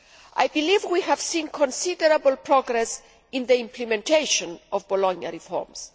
I believe we have seen considerable progress in the implementation of Bologna reforms.